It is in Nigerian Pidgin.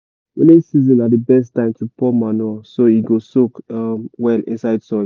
rainy season na the best time to pour manure so e go soak um well inside soil.